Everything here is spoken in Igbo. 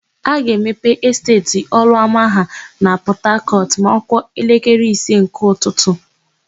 A ga-emepe Esteeti Ọlụọma ha na Pọtakọtụ ma ọ kụọ elekere ise nke ụtụtụ.